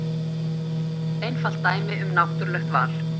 Einfalt dæmi um náttúrulegt val.